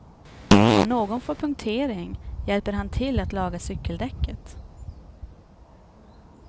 Om någon får punktering hjälper han till att laga cykeldäcket.